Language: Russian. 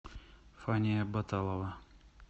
фания баталова